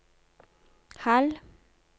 halv